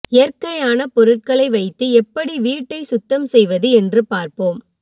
இயற்கையான பொருட்களை வைத்து எப்படி வீட்டை சுத்தம் செய்வது என்று பார்ப்போம்